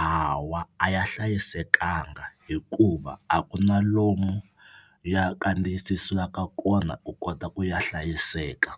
Hawa a ya hlayisekanga hikuva a ku na lomu ya kandziyisisiwaka kona ku kota ku ya hlayiseka